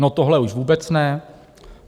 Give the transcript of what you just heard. No, tohle už vůbec ne.